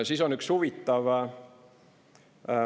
Siis on üks huvitav …